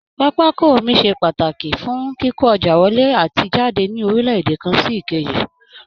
Pápákọ omi ṣe pàtàkí fún kíkó ọjà wọlé àti jàdé ní orílẹ̀ èdè kan sí èkejì